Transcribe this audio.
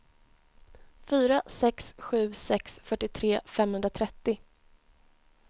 fyra sex sju sex fyrtiotre femhundratrettio